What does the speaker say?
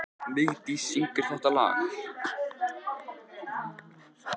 Vigdís, hver syngur þetta lag?